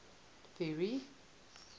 ferry